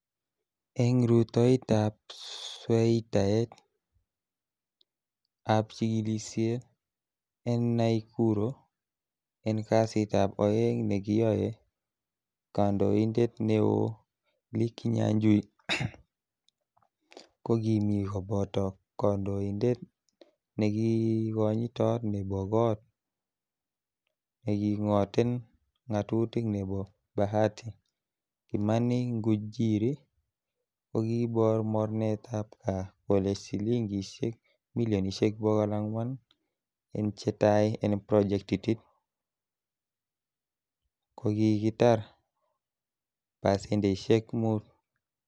En rutoitab sweitaet ab chigilisie en Naikuro, en kasitab oeng nekiyoe kandoindet neo Lee kinyajui, ko kimi koboto konoindet nekonyitot nebo got nekingoten ngatutik nebo Bahati, Kimani Ngunjiri, kokibor mornetab KAA, kole silingisiek milionisiek bogol angwan, en chetai en projectit ko ki kitar pasendeisiek mut.